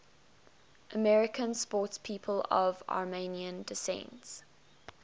american sportspeople of armenian descent